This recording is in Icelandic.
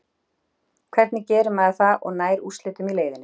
Hvernig gerir maður það og nær úrslitum í leiðinni?